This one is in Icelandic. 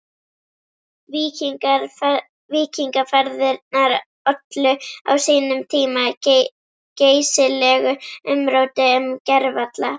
Víkingaferðirnar ollu á sínum tíma geysilegu umróti um gervalla